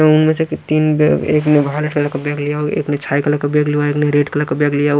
और उनमें से तीन व एक ने व्हाईट कलर का बैग लिया हुआ एक ने बैग लिया हुआ एक ने रेड कलर का बैग लिया हुआ --